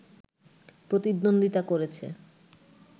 প্রতিদ্বন্দ্বিতা করেছে